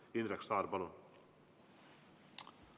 Indrek Saar, palun!